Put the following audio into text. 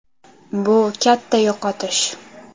Bu katta yo‘qotish.